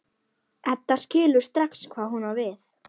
Edda skilur strax hvað hún á við.